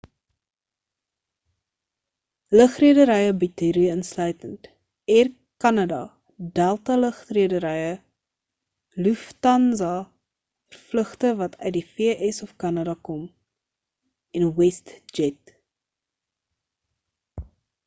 lugrederye bied hierdie insluitend air kanada delta lugredery lufthansa vir vlugte wat uit die v.s. of kanada kom en westjet